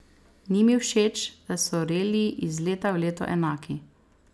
Ni mi všeč, da so reliji iz leta v leto enaki.